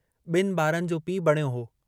बिन बारनि जो पीउ बणियो हो।